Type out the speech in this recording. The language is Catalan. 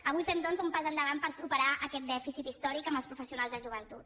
avui fem doncs un pas endavant per superar aquest dèficit històric amb els professionals de joventut